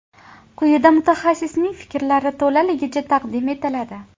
Quyida mutaxassisning fikrlari to‘laligicha taqdim etiladi.